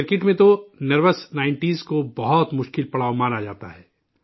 cricket میں تو 'nervous nineties' کو بہت مشکل پڑاؤ مانا جاتا ہے